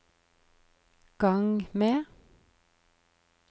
gang med